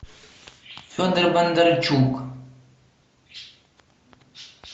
федор бондарчук